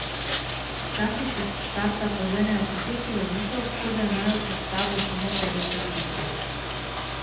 Včasih se s štarta poženejo tako silovito, kot da imajo pred sabo samo petdeset metrov.